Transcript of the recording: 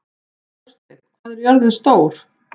Þórsteinn, hvað er jörðin stór?